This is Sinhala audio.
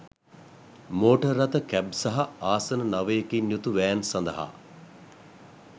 මෝටර් රථ කැබ් සහ ආසන නවයකින් යුතු වෑන් සඳහා